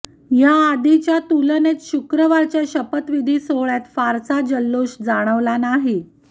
याआधीच्या तुलनेत शुक्रवारच्या शपथविधी सोहळ्यात फारसा जल्लोष जाणवला नाही